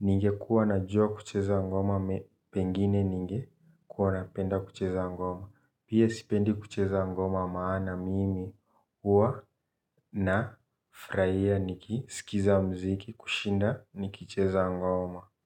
Ninge kuwa na juwa kucheza ngoma, pengine ninge kuwa napenda kucheza ngoma. Pia sipendi kucheza ngoma maana mimi huwa na fraia niki sikiza mziki kushinda nikicheza ngoma.